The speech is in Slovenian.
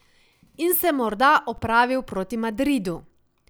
In se morda opravil proti Madridu.